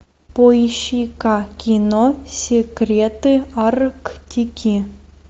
поищи ка кино секреты арктики